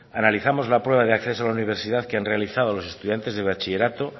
analizamos la prueba de acceso a la universidad que han realizado los estudiantes de bachillerato